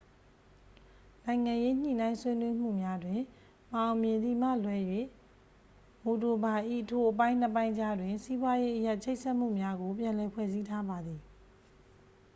နိုင်ငံရေး ညှိနှိုင်းဆွေးနွေးမှုများတွင် မအောင်မြင်သည်မှလွဲ၍ မိုဒိုဗာ ၏ ထိုအပိုင်းနှစ်ပိုင်းကြားတွင် စီးပွားရေးအရချိတ်ဆက်မှုများကို ပြန်လည်ဖွဲ့စည်းထားပါသည်